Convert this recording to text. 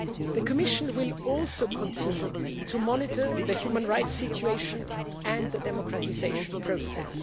The Commission will also continue to monitor the human rights situation and the democratisation process.